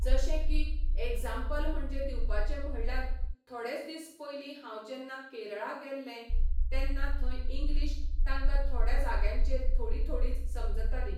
जशें की ऍग्जांपल म्हणजें दिवपाचें म्हणल्यार थोडेच दीस पयलीं हांव जेन्ना केरळा गेल्लें तेन्ना थंय इंग्लिश तांकां थोड्या जाग्यांचेर थोडी थोडीच समजताली